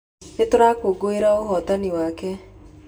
Nĩ tũrakũngũĩra ũhootani wake.